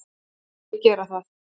Ekki gera það